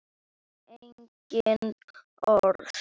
Engin orð.